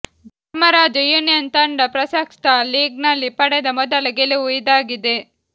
Dharmaraja union ತಂಡ ಪ್ರಸಕ್ತ ಲೀಗ್ನಲ್ಲಿ ಪಡೆದ ಮೊದಲ ಗೆಲುವು ಇದಾಗಿದೆ